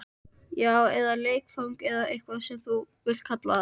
Já, eða leikfang eða hvað þú vilt kalla það.